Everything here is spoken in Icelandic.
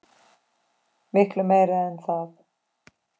Miklu meira en það.